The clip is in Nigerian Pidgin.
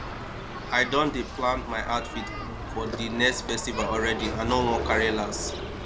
i don dey plan my outfit for di next festival already i no wan carry last